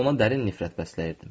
Hətta ona dərin nifrət bəsləyirdim.